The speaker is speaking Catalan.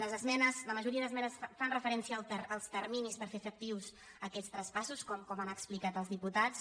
les esmenes la majoria d’esmenes fan re·ferència als terminis per fer efectius aquests traspas·sos com han explicat els diputats